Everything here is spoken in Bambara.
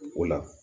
O la